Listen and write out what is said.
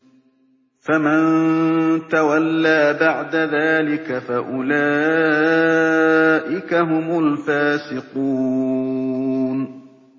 فَمَن تَوَلَّىٰ بَعْدَ ذَٰلِكَ فَأُولَٰئِكَ هُمُ الْفَاسِقُونَ